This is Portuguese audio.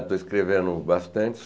Estou escrevendo bastante.